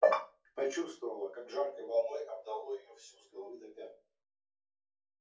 почувствовала как жаркой волной обдало её всю с головы до пят